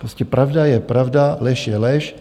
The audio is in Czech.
Prostě pravda je pravda, lež je lež.